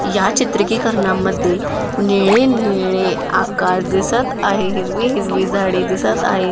या चित्रिकीकरणामध्ये निळे-निळे आकाश दिसत आहे हिरवी-हिरवी झाडे दिसत आहे.